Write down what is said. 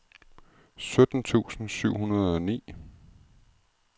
sytten tusind syv hundrede og ni